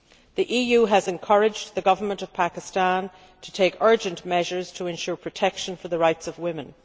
The EU has encouraged the Pakistan Government to take urgent measures to ensure protection for the rights of women.